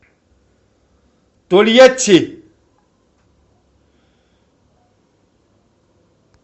тольятти